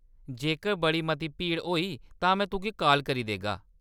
जेकर बड़ी मती भीड़ होई, तां में तुगी काल करी देगा।